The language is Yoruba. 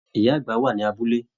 Ìyá àgbà wà ní abúlé.